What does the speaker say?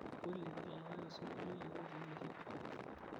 olly tadalakaki osinkolio yioloti le hiphop